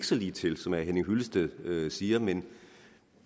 så ligetil som herre henning hyllested siger men